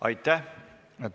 Aitäh!